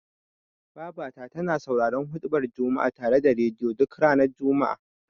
Babata tana sauraron huɗubar juma'a ta rediyo, duk ranar juma'a.